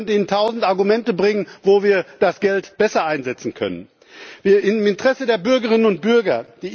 Ich kann Ihnen tausend Argumente bringen, wo wir das Geld besser einsetzen können, im Interesse der Bürgerinnen und Bürger.